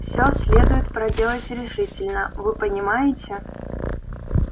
все следует проделать решительно вы понимаете